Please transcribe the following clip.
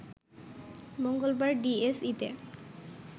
মঙ্গলবার ডিএসইতে